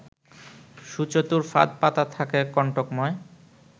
সুচতুর ফাঁদ পাতা থাকে কন্টকময়